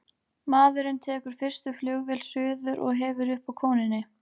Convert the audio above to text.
Maðurinn tekur fyrstu flugvél suður og hefur upp á konunni.